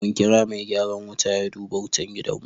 Mun kira mai gyaran wuta ya duba wutan gidanmu.